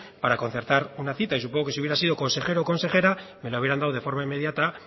para concertar una cita y supongo que si hubiese sido consejero o consejera me lo hubieran dado de forma inmediata